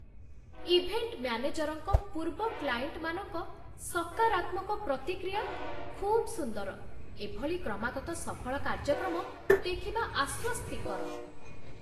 Event ମ୍ୟାନେଜର୍‌ଙ୍କ ପୂର୍ବ କ୍ଲାଏଣ୍ଟମାନଙ୍କ ସକାରାତ୍ମକ ପ୍ରତିକ୍ରିୟା ଖୁବ୍ ସୁନ୍ଦର ଏଭଳି କ୍ରମାଗତ ସଫଳ କାର୍ଯ୍ୟକ୍ରମ ଦେଖିବା ଆଶ୍ୱସ୍ତିକର।